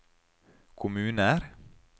kommuner